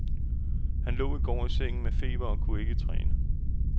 Han lå i går i sengen med feber og kunne ikke træne.